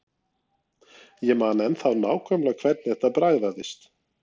Ég man ennþá nákvæmlega hvernig þetta bragðaðist.